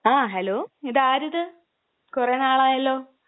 ങാ..ഹലോ...ഇതാരിത്! കുറേ നാളായല്ലോ.